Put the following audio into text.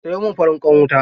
Sayo min farin ƙwan wuta.